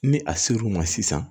Ni a ser'u ma sisan